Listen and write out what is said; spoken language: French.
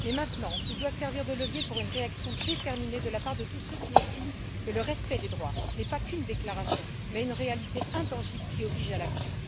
Mais maintenant, ils doivent servir de levier pour une réaction déterminée de la part de tous ceux qui estiment que le respect des droits n'est pas qu'une déclaration mais une réalité intangible qui oblige à l'action.